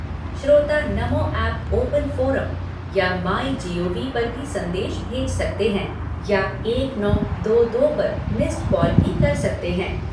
श्रोता Namo app open forum या my gov पर भी संदेश भेज सकते हैं या एक नौ दो दो पर मिस्ड कॉल भी कर सकते हैं।